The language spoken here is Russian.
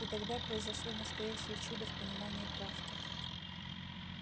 и тогда произошло настоящее чудо в понимании травки